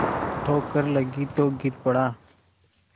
ठोकर लगी तो गिर पड़ा